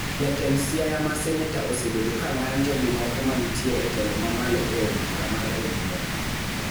Jatend Siaya ma seneta osebedo ka ng�anjo gi moko manitie e telo mamalo e od bur mar ODM